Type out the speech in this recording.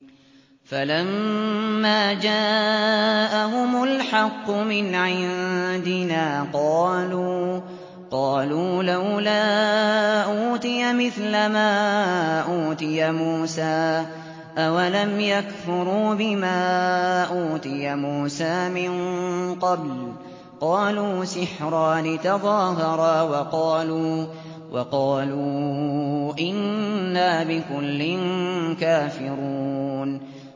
فَلَمَّا جَاءَهُمُ الْحَقُّ مِنْ عِندِنَا قَالُوا لَوْلَا أُوتِيَ مِثْلَ مَا أُوتِيَ مُوسَىٰ ۚ أَوَلَمْ يَكْفُرُوا بِمَا أُوتِيَ مُوسَىٰ مِن قَبْلُ ۖ قَالُوا سِحْرَانِ تَظَاهَرَا وَقَالُوا إِنَّا بِكُلٍّ كَافِرُونَ